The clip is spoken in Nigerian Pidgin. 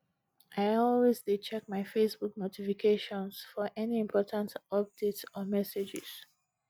i always dey check my facebook notifications for any important updates or messages